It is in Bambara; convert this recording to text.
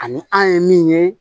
Ani an ye min ye